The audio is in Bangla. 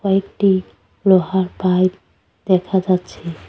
কয়েকটি লোহার পাইপ দেখা যাচ্ছে।